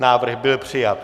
Návrh byl přijat.